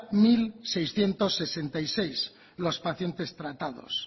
mil seiscientos sesenta y seis los pacientes tratados